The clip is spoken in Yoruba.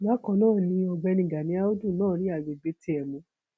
bákan náà ni ọgbẹni gani àùdù náà rí àgbègbè tiẹ mú